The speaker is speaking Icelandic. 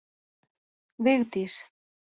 Vigdís